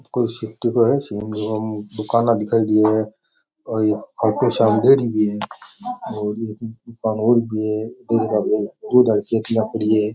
कोई सिटी का है दूकान दिखाई दे रही है खाटूश्याम डेरी भी है एक दूकान और भी है टंकिया पड़ी है।